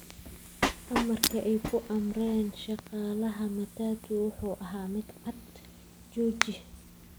Amarka ay ku amreen shaqaalaha matatu wuxuu ahaa mid cad: "Jooji!